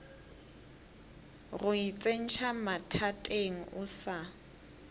go itsentšha mathateng o sa